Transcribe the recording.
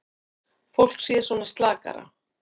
Fólk sé svona slakara.